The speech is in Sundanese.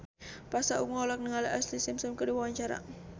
Pasha Ungu olohok ningali Ashlee Simpson keur diwawancara